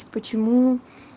почему